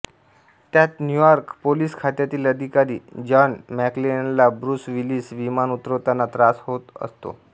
त्यात New York police खात्यातिल अधिकारी जॉन मक्लेनला ब्रुस विलिस विमान उतरताना त्रास होतो असतो